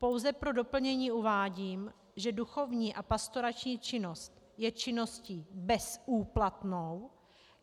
Pouze pro doplnění uvádím, že duchovní a pastorační činnost je činností bezúplatnou.